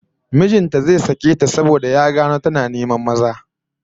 Mijin ta zai sake ta saboda ya gano tana neman maza